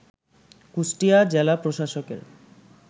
কুষ্টিয়া জেলা প্রশাসকের